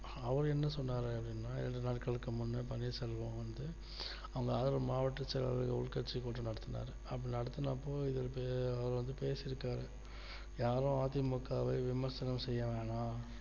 அவர் என்ன சொன்னார் அப்படின்னா இரண்டு நாட்களுக்கு முன்னால் பன்னீர்செல்வம் வந்து அவரோட மாவட்ட செயலாளர் உள் கட்சி கூட்டம் நடத்தினார் அப்படி நடத்தினப்போ இவர் அவர்வந்து பேசியிருக்கிறார் யாரும் அ தி மு க வை விமர்சனம் செய்ய வேண்டாம்